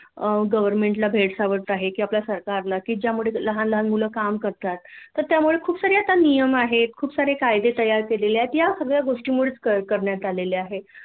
government ला भेळसावत आहे कि आपल्या सरकारला की ज्यामळे लहान लहान मुलं काम करतात त्यामुळे खूप सारे आता नियम आहेत खूप सारे कायदे तयार केलेले आहेत या सगळ्या गोष्टीमुळे करण्यात आलेले आहेत